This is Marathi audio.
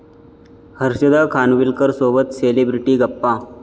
हर्षदा खानविलकरसोबत सेलिब्रिटी गप्पा